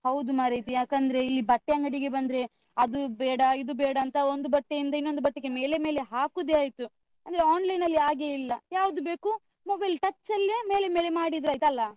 ಹೌದು ಮಾರೈತಿ. ಯಾಕಂದ್ರೆ ಇಲ್ಲಿ ಬಟ್ಟೆ ಅಂಗಡಿ ಬಂದ್ರೆ ಅದು ಬೇಡ, ಇದು ಬೇಡಾಂತ ಒಂದು ಬಟ್ಟೆಯಿಂದ ಇನ್ನೊಂದು ಬಟ್ಟೆಗೆ ಮೇಲೆ ಮೇಲೆ ಹಾಕುದೇ ಆಯ್ತು. ಅಂದ್ರೆ online ಅಲ್ಲಿ ಹಾಗೆ ಇಲ್ಲ ಯಾವ್ದು ಬೇಕೂ, mobile touch ಅಲ್ಲಿಯೇ ಮೇಲೆ ಮೇಲೆ ಮಾಡಿದ್ರಾಯ್ತು ಅಲಾ?